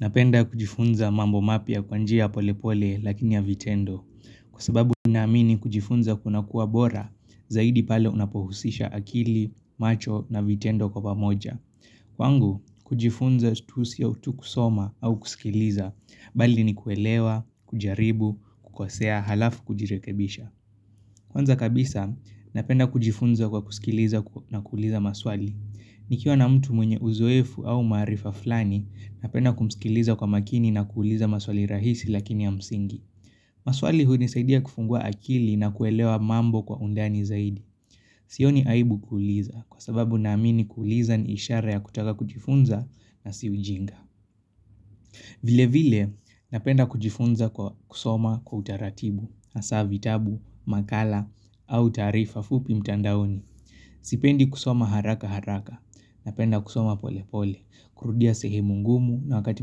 Napenda kujifunza mambo mapya kwa njia ya polepole lakini ya vitendo. Kwa sababu ninaamini kujifunza kunakuwa bora, zaidi pale unapohusisha akili, macho na vitendo kwa pamoja. Kwangu, kujifunza tu sio tu kusoma au kusikiliza, bali ni kuelewa, kujaribu, kukosea, halafu kujirekebisha. Kwanza kabisa, napenda kujifunza kwa kusikiliza na kuuliza maswali. Nikiwa na mtu mwenye uzoefu au maarifa fulani, napenda kumsikiliza kwa makini na kuuliza maswali rahisi lakini ya msingi. Maswali hunisaidia kufungua akili na kuelewa mambo kwa undani zaidi. Sioni aibu kuuliza kwa sababu naamini kuuliza ni ishara ya kutaka kujifunza na si ujinga. Vile vile, napenda kujifunza kwa kusoma kwa utaratibu, hasa vitabu, makala au taarifa fupi mtandaoni. Sipendi kusoma haraka haraka. Napenda kusoma pole pole. Kurudia sehemu ngumu na wakati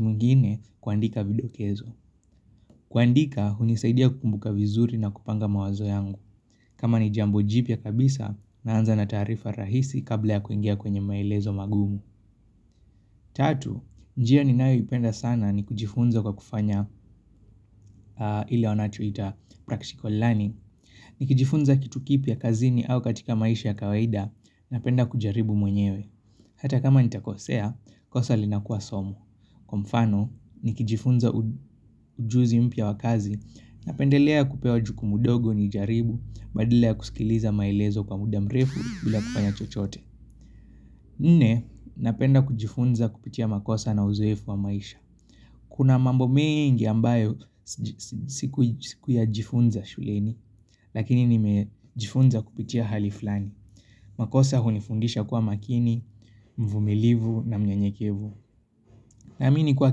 mwingine kuandika vidokezo kuandika hunisaidia kukumbuka vizuri na kupanga mawazo yangu kama ni jambo jipya kabisa naanza na taarifa rahisi kabla ya kuingia kwenye maelezo magumu Tatu, njia ninayoipenda sana ni kujifunza kwa kufanya ile wanachoita, practical learning. Nikijifunza kitu kipya kazini au katika maisha ya kawaida Napenda kujaribu mwenyewe. Hata kama nitakosea, kosa linakuwa somo. Kwa mfano, nikijifunza ujuzi mpya wa kazi, napendelea kupewa jukumu dogo nijaribu, badala ya kusikiliza maelezo kwa muda mrefu bila kufanya chochote. Nne, napenda kujifunza kupitia makosa na uzoefu wa maisha. Kuna mambo mingi ambayo sikuyajifunza shuleni, lakini nimejifunza kupitia hali fulani. Makosa hunifundisha kuwa makini, mvumilivu na mnyenyekevu. Naamini kuwa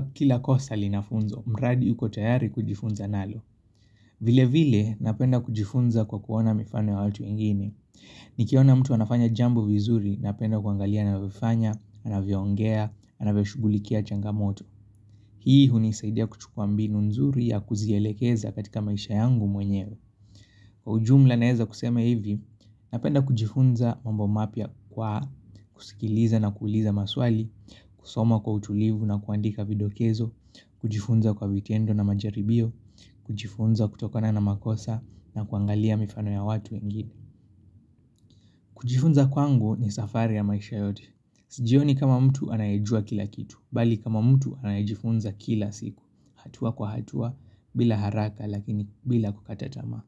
kila kosa lina funzo, mradi uko tayari kujifunza nalo. Vile vile, napenda kujifunza kwa kuona mifano ya watu wengine. Nikiona mtu anafanya jambo vizuri, napenda kuangalia anavyofanya, anavyoongea, anavyoshugulikia changamoto. Hii hunisaidia kuchukuwa mbinu nzuri ya kuzielekeza katika maisha yangu mwenyewe. Kwa ujumla naeza kusema hivi, napenda kujifunza mambo mapya kwa kusikiliza na kuuliza maswali, kusoma kwa utulivu na kuandika videkezo, kujifunza kwa vitendo na majaribio, kujifunza kutokona na makosa na kuangalia mifano ya watu wengine. Kujifunza kwangu ni safari ya maisha yote. Sijioni kama mtu anayejua kila kitu, bali kama mtu anayejifunza kila siku, hatua kwa hatua, bila haraka lakini bila kukata tamaa.